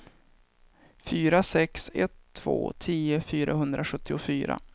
fyra sex ett två tio fyrahundrasjuttiofyra